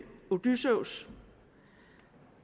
odysseus